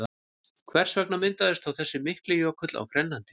Hvers vegna myndaðist þá þessi mikli jökull á Grænlandi?